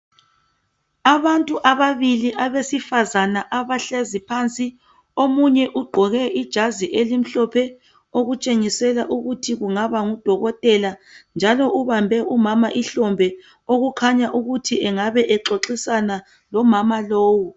Abantu ababili abesifazana abahlezi phansi. Omunye ugqoke ijazi elimhlophe okutshengisela ukuthi kungaba ngudokotela njalo ubambe umama ihlombe okukhanya ukuthi engabe exoxisana lomama lowu